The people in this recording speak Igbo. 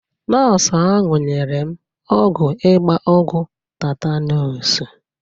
Nọọsụ ahụ nyere m ọgwụ ịgba ọgwụ tetanus.